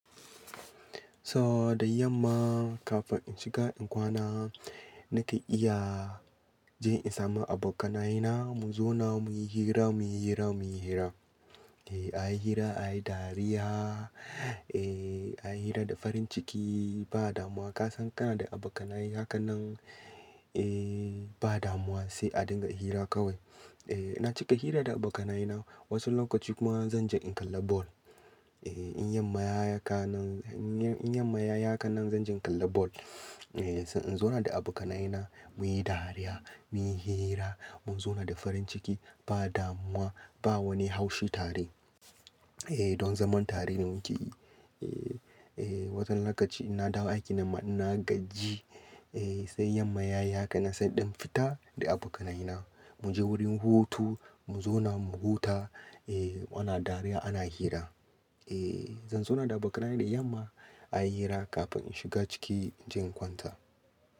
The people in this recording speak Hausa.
So da yamma kafin in shiga in kwana nake iya je in samu abokanaye na mu zauna muyi hira, muyi hira, muyi hira. Ehh a yi hira, a yi dariya, ehh a yi hira da farin ciki ba damuwa. Ka san kana da abokanaye hakanan ehh ba damuwa sai a dinga yi hira kawai. Ehh naci ka hira da abokanaye na wasu lokaci kuma zan je in kalla ball. Ehh in ya mayaka nan, in ya mayaka nan zan je in kalla ball. Ehh sai in zauna da abokanaye na muyi dariya, muyi hira, mu zauna da farin ciki ba damuwa, ba wani haushi tare. Ehh don zaman tare ne muke yi. Ehh, ehh wasu lokaci ina dawo aiki na na gaji ehh sai yan mayaya ka na sai ɗin fita da abokanaye na. Mu je wurin hutu, mu zauna mu huta ehh ana dariya ana hira. Ehh zan zauna da abokanaye na da yamma a yi hira kafin in shiga ciki in je kwanta.